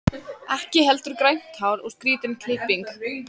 Ekki heldur grænt hár og skrýtin klipping.